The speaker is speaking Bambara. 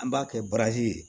An b'a kɛ baraji ye